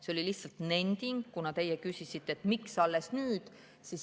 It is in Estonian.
See oli lihtsalt nending, kuna teie küsisite, et miks alles nüüd.